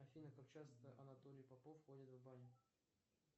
афина как часто анатолий попов ходит в баню